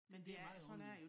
Det meget underligt